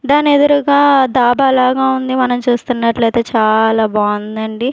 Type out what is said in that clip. దానెదురుగా దాబా లాగా ఉంది మనం చూస్తున్నట్లయితే చాలా బావుందండి.